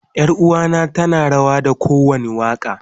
Yaruwa na tana rawa da kowanda waka.